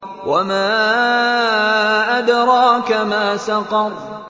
وَمَا أَدْرَاكَ مَا سَقَرُ